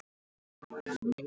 Keyptum við köttinn í sekknum?